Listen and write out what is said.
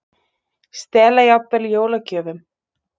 Stela jafnvel jólagjöfum